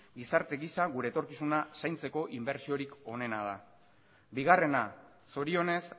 gizarte giza gure etorkizuna zaintzeko inbertsorik onena da bigarrena zorionez